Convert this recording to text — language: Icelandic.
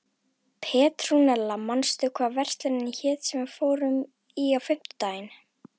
Petrúnella, manstu hvað verslunin hét sem við fórum í á fimmtudaginn?